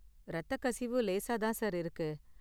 இரத்தக்கசிவு லேசா தான் சார் இருக்கு.